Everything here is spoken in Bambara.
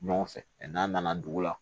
Ɲɔgɔn fɛ n'an nana dugu la